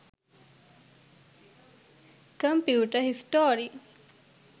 computer history